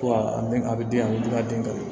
Ko a bɛ a bɛ den a bɛ dun ka den kan